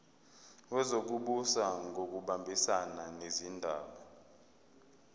wezokubusa ngokubambisana nezindaba